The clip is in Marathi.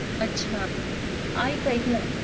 अच्छा ऐक ऐकना